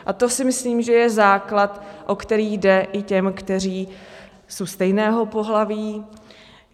A to si myslím, že je základ, o který jde i těm, kteří jsou stejného pohlaví.